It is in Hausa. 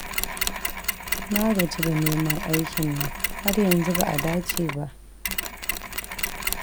Na gaji da neman aikin nan, har yanzu ba a dace ba